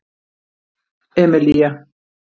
Emilía